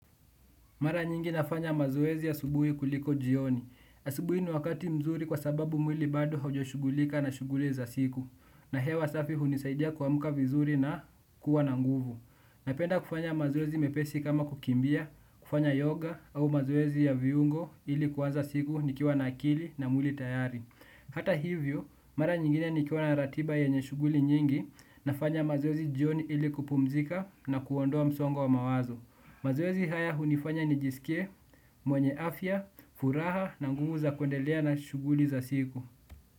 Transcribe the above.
Mara nyingi nafanya mazoezi asubuhi kuliko jioni. Asubuhi ni wakati mzuri kwa sababu mwili bado haujashughulika na shughuli za siku. Na hewa safi hunisaidia kuamka vizuri na kuwa na nguvu. Napenda kufanya mazoezi mepesi kama kukimbia, kufanya yoga au mazoezi ya viungo ili kuanza siku nikiwa na akili na mwili tayari. Hata hivyo, mara nyingine nikiona ratiba yenye shughuli nyingi nafanya mazoezi jioni ili kupumzika na kuondoa msongo wa mawazo. Mazoezi haya hunifanya nijisikie, mwenye afya, furaha na nguvu za kuendelea na shughuli za siku.